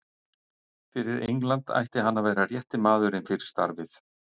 Fyrir England ætti hann að vera rétti maðurinn fyrir starfið.